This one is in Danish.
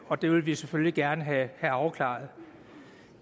og det vil vi selvfølgelig gerne have afklaret